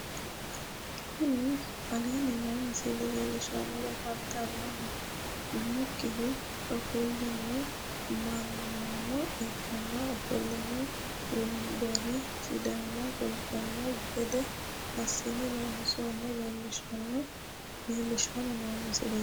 Kuni aleenni noo misile leellishshanni afantanni noonkehu ofollino mannano ikko ofollinanni wombareno sidaama kultanno gede assine loonsoonnita leellishshanni noo misileeti